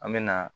An me na